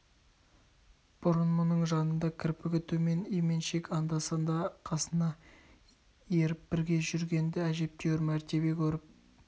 бұрын мұның жанында кірпігі төмен именшек еді анда-санда қасына еріп бірге жүргенді әжептәуір мәртебе көріп